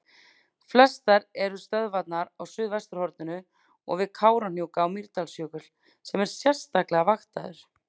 Flestar eru stöðvarnar á suðvesturhorninu og við Kárahnjúka og Mýrdalsjökul sem er sérstaklega vaktaður.